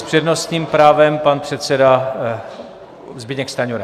S přednostním právem pan předseda Zbyněk Stanjura.